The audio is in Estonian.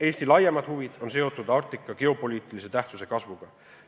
Eesti laiemad huvid on seotud Arktika geopoliitilise tähtsuse kasvuga.